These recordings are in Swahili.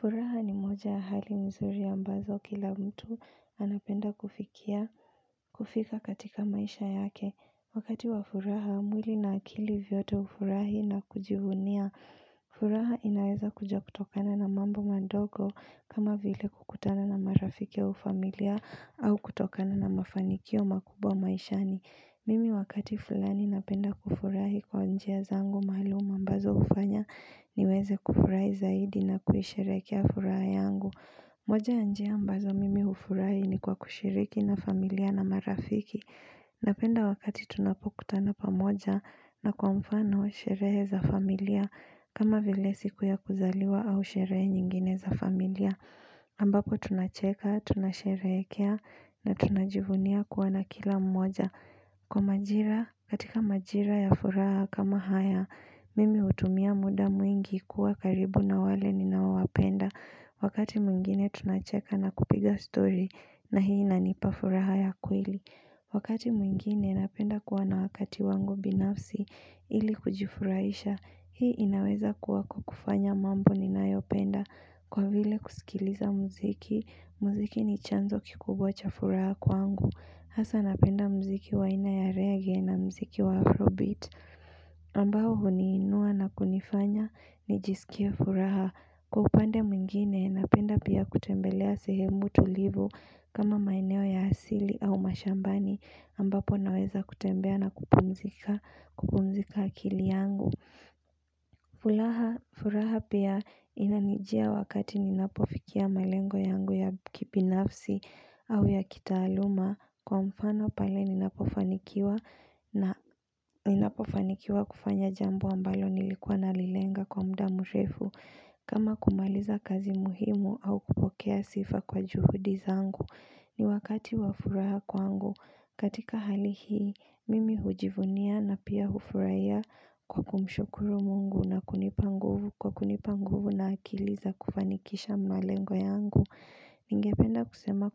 Furaha ni moja ya hali mzuri ambazo kila mtu anapenda kufikia kufika katika maisha yake Wakati wa furaha, mwili na akili vyote hufurahi na kujivunia furaha inaweza kuja kutokana na mambo madogo kama vile kukutana na marafiki au familia au kutokana na mafanikio makubwa maishani Mimi wakati fulani napenda kufurahi kwa njia zangu maalum ambazo hufanya niweze kufurahi zaidi na kuisherehekea furaha yangu moja njia ambazo mimi hufurahi ni kwa kushiriki na familia na marafiki Napenda wakati tunapokutana pamoja na kwa mfano sherehe za familia kama vile siku ya kuzaliwa au sherehe nyingine za familia ambako tunacheka, tunasherehekea na tunajivunia kuwa na kila mmoja Kwa majira, katika majira ya furaha kama haya, mimi hutumia muda mwingi kuwa karibu na wale ninawapenda Wakati mwingine tunacheka na kupiga story na hii inanipa furaha ya kweli Wakati mwingine napenda kuwa na wakati wangu binafsi ili kujifurahisha Hii inaweza kuwa kwa kufanya mambo ninayopenda Kwa vile kusikiliza mziki, mziki ni chanzo kikubwa cha furaha kwangu Hasa napenda mziki wa aina ya rege na mziki wa afrobit ambao huniinua na kunifanya nijisikie furaha Kwa upande mwingine napenda pia kutembelea sehemu tulivu kama maeneo ya asili au mashambani ambapo naweza kutembea na kupumzika kupumzisha akili yangu furaha pia inanijia wakati ninapofikia malengo yangu ya kibinafsi au ya kitaaluma Kwa mfano pale ninapofanikiwa ninapofanikiwa kufanya jambo ambalo nilikuwa nalilenga kwa muda mrefu kama kumaliza kazi muhimu au kupokea sifa kwa juhudi zangu ni wakati wa furaha kwangu katika hali hii, mimi hujivunia na pia hufurahia kwa kumshukuru mungu Kwa kunipa nguvu na akili za kufanikisha malengo yangu ningependa kusema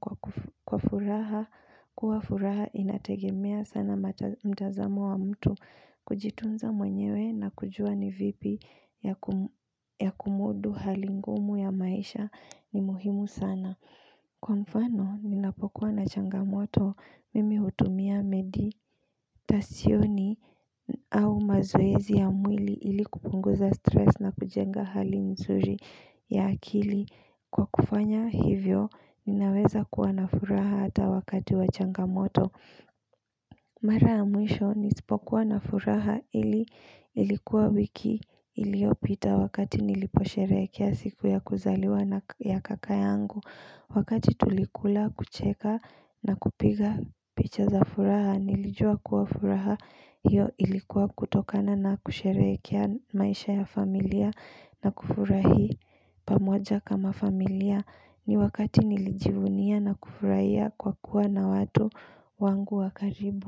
kwa furaha, kuwa furaha inategemea sana mtazamo wa mtu kujitunza mwenyewe na kujua ni vipi ya kumudu hali ngumu ya maisha ni muhimu sana. Kwa mfano, ninapokuwa na changamoto, mimi hutumia meditasyoni au mazoezi ya mwili ilikupunguza stress na kujenga hali mzuri ya akili. Kwa kufanya hivyo, ninaweza kuwa na furaha hata wakati wa changamoto. Mara ya mwisho, nisipokuwa na furaha ilikuwa wiki iliopita wakati niliposherehea siku ya kuzaliwa na kaka yangu. Wakati tulikula kucheka na kupiga picha za furaha nilijua kuwa furaha hiyo ilikuwa kutokana na kusherehekea maisha ya familia na kufurahi pamoja kama familia ni wakati nilijivunia na kufurahia kwa kuwa na watu wangu wa karibu.